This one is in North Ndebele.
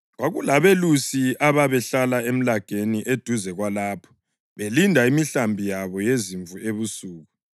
Kwakulabelusi ababehlala emlageni eduze kwalapho, belinda imihlambi yabo yezimvu ebusuku.